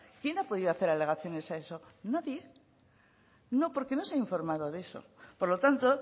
quién ha podido hacer alegaciones a eso nadie no porque no se ha informado de eso por lo tanto